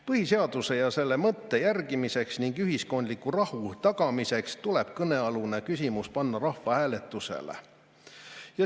Põhiseaduse ja selle mõtte järgimiseks ning ühiskondliku rahu tagamiseks tuleb kõnealune küsimus panna rahvahääletusele.